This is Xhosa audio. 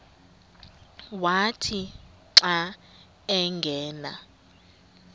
wathi xa angena